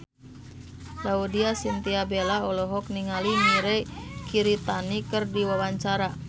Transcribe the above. Laudya Chintya Bella olohok ningali Mirei Kiritani keur diwawancara